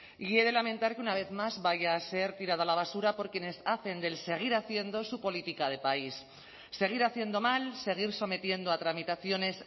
y he de lamentar que una vez más vaya a ser tirada a la basura por quienes hacen del seguir haciendo su política de país seguir haciendo mal seguir sometiendo a tramitaciones